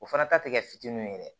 O fana ta tɛ kɛ fitininw ye dɛ